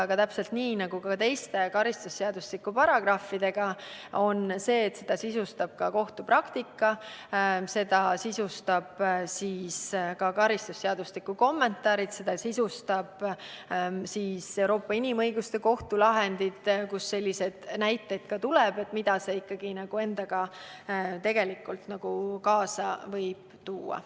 Aga täpselt nii nagu teiste karistusseadustiku paragrahvidega on ka selle sättega nii, et seda sisustavad kohtupraktika, karistusseadustiku kommentaarid, samuti Euroopa Inimõiguste Kohtu lahendid, kus leidub näiteid selle kohta, mida see endaga kaasa võib tuua.